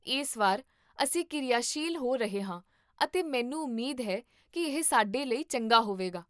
ਇਸ ਵਾਰ, ਅਸੀਂ ਕਿਰਿਆਸ਼ੀਲ ਹੋ ਰਹੇ ਹਾਂ ਅਤੇ ਮੈਨੂੰ ਉਮੀਦ ਹੈ ਕੀ ਇਹ ਸਾਡੇ ਲਈ ਚੰਗਾ ਹੋਵੇਗਾ